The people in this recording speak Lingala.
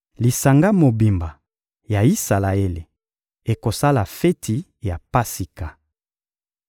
Lisanga mobimba ya Isalaele ekosala feti ya Pasika.